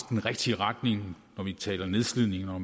den rigtige retning når vi taler nedslidning og